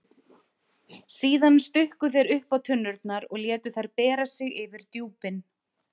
Síðan stukku þeir uppá tunnurnar og létu þær bera sig yfir djúpin.